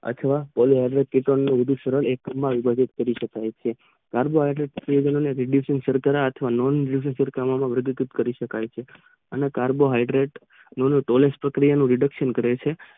પહેલા વિદ્યુત ને ને વિભાજીત કરી શકાય છે આર્ગે નવા વિદ્યુત માં વિભાજીત કરી શકાય છે અને કાર્બો હૈટ્રિડ જેવા નું રિસૅક્સન કરે છે.